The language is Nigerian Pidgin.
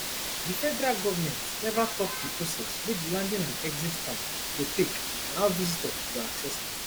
di federal govment neva tok di process wey di landing and exit card go take and how visitor go access am